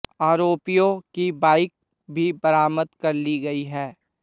आरोपियों की बाइक भी बरामद कर ली गई है